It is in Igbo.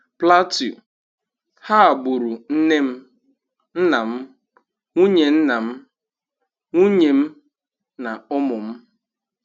Plateau: 'ha gburu nne m, nna m, nwunye nna m, nwunye m na ụmụ m'